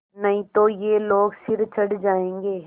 नहीं तो ये लोग सिर चढ़ जाऐंगे